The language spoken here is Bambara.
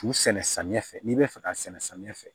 Fu sɛnɛ samiyɛ fɛ n'i be fɛ ka sɛnɛ samiya fɛ